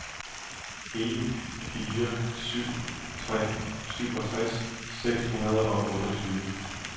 en fire syv tre syvogtres seks hundrede og otteogtyve